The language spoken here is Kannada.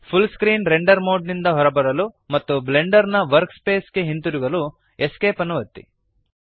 ಫುಲ್ ಸ್ಕ್ರೀನ್ ರೆಂಡರ್ ಮೋಡ್ ನಿಂದ ಹೊರಬರಲು ಮತ್ತು ಬ್ಲೆಂಡರ್ ನ ವರ್ಕ್ ಸ್ಪೇಸ್ ಗೆ ಹಿಂತಿರುಗಲು ESC ಅನ್ನು ಒತ್ತಿರಿ